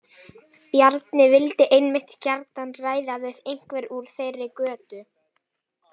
Bjarni vildi einmitt gjarnan ræða við einhvern úr þeirri götu.